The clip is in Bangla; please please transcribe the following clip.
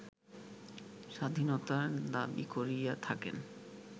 স্বাধীনতার দাবী করিয়া থাকেন